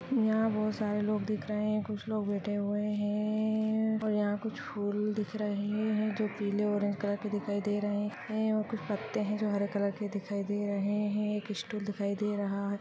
यहां बहुत सारे लोग दिख रहे है कुछ लोग बैठे हुए है और यहां कुछ फूल दिख रहे है जो पिले और ऑरेंज कलर के दिखाई दे रहे है और कुछ पत्ते जो हरे कलर के दिखाई दे रहे है और एक स्टूल दिखाई दे रहा है।